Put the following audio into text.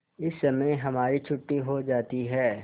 इस समय हमारी छुट्टी हो जाती है